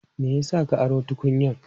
Me ya sa ka aro tukunyan?